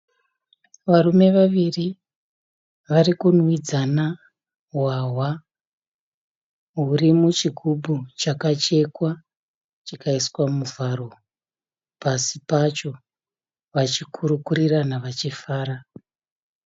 Varume vaviri varikunwidzana hwahwa. Huri muchigubhu chakachekwa chikaiswa muvharo pasi pacho. Vachikurukurirana vachifara.